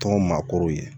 Tɔn maakɔrɔw ye